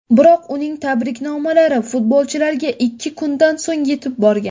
Biroq uning tabriknomalari futbolchilarga ikki kundan so‘ng yetib borgan.